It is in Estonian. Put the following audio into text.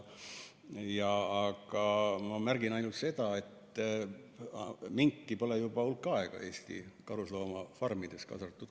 Aga ma märgin ainult seda, et minki pole juba hulk aega Eesti karusloomafarmides kasvatatud.